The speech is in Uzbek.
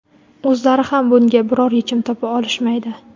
o‘zlari ham bunga biror yechim topa olishmaydi.